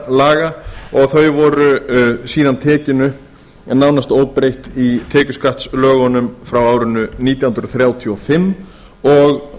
laga og þau voru síðan tekin upp nánast óbreytt í tekjuskattslögunum frá árinu nítján hundruð þrjátíu og fimm og